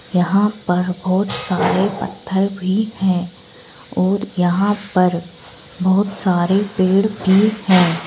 यहां पर बहुत सारे पत्थर भी है और यहां पर बहोत सारे पेड़ भी हैं।